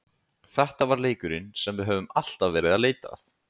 Þetta var leikurinn sem við höfðum alltaf verið að leita að.